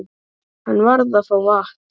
Hann varð að fá vatn.